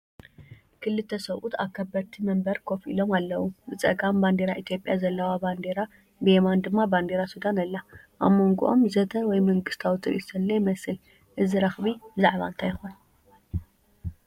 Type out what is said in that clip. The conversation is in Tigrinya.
ክልተ ሰብኡት ኣብ ከበድቲ መንበር ኮፍ ኢሎም ኣለዉ። ብጸጋም ባንዴራ ኢትዮጵያ ዘለዋ ባንዴራ፡ ብየማን ድማ ባንዴራ ሱዳን ኣላ። ኣብ መንጎኦም ዘተ ወይ መንግስታዊ ትርኢት ዘሎ ይመስል። እዚ ረኽቢ ብዛዕባ እንታይ ይኾን?